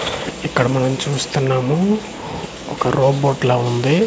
ఇక్కడ మనం చూస్తున్నాము ఒక రోబోట్ లా వుంది.